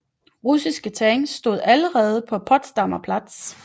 Russiske tanks stod allerede på Potsdamer Platz